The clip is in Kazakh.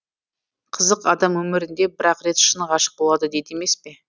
қызық адам өмірінде бір ақ рет шын ғашық болады дейді емес пе